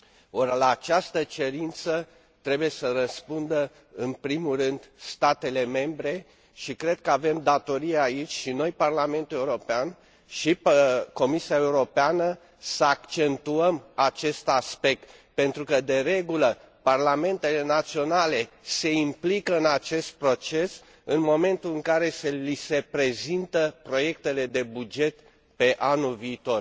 Ori, la această cerință trebuie să răspundă în primul rând statele membre, și cred că avem datoria aici, și noi, Parlamentul European, și Comisia Europeană, să accentuăm acest aspect pentru că, de regulă, parlamentele naționale se implică în acest proces în momentul în care li se prezintă proiectele de buget pe anul viitor.